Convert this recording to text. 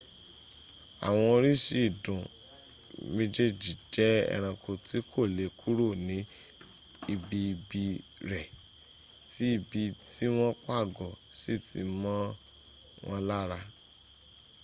àwọn oríṣi ìdun méjèèjì jẹ́ ẹ̀ranko tí kò lè kúrò ní ibi ìbí rẹ̀ tí ibi tí wọ́n pàgọ́ sí ti mọ́ wọn lár